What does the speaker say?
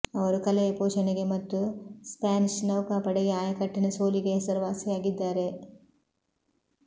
ಅವರು ಕಲೆಯ ಪೋಷಣೆಗೆ ಮತ್ತು ಸ್ಪ್ಯಾನಿಷ್ ನೌಕಾಪಡೆಗೆ ಆಯಕಟ್ಟಿನ ಸೋಲಿಗೆ ಹೆಸರುವಾಸಿಯಾಗಿದ್ದಾರೆ